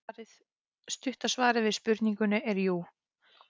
Stutta svarið við spurningunni er jú.